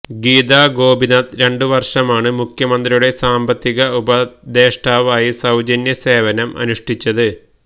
ഗീതാ ഗോപിനാഥ് രണ്ടുവര്ഷമാണ് മുഖ്യമന്ത്രിയുടെ സാമ്പത്തിക ഉപദേഷ്ടാവായി സൌജന്യ സേവനം അനുഷ്ടിച്ചത്